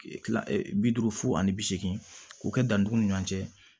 Kila bi duuru fo ani bi seegin k'o kɛ dantanw ni ɲɔn cɛ